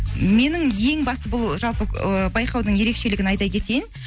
менің ең басты бұл жалпы ы байқаудың ерекшелігін айта кетейін